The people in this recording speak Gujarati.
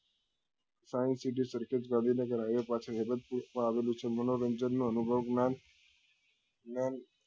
science city Sarkhej Gandhinagar high way પાસે માં આવેલી છે મનોરંજન નો અનુભવ જ્ઞાન જ્ઞાન